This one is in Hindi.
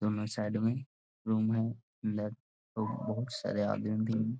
दोनों साइड में रूम है अंदर बोहुत सारे आदमी भी --